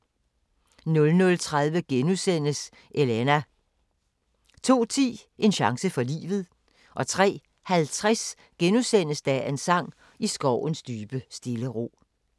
00:30: Elena * 02:10: En chance for livet 03:50: Dagens sang: I skovens dybe stille ro *